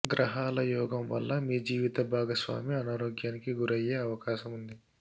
గ్రహాల యోగం వల్ల మీ జీవిత భాగస్వామి అనారోగ్యానికి గురయ్యే అవకాశముంది